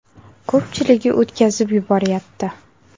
Ko‘pchiligi o‘tkazib yuboryapti.